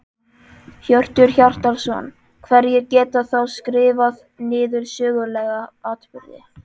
Hjörtur Hjartarson: Hverjir geta þá skrifað niður sögulega atburði?